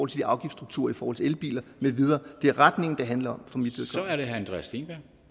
til afgiftsstrukturer i forhold til elbiler med videre det er retningen det handler